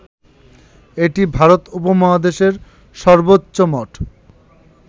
এটি ভারত উপমহাদেশের সর্বোচ্চ মঠ